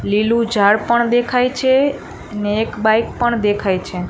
લીલું ઝાડ પણ દેખાય છે અને એક બાઈક પણ દેખાય છે.